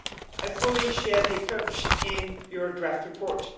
I fully share the approach in your draft report.